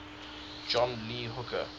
john lee hooker